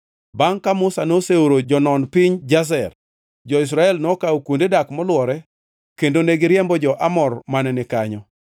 Bangʼ ka Musa noseoro jonon piny Jazer, jo-Israel nokawo kuonde dak molwore kendo ne giriembo jo-Amor mane ni kanyo.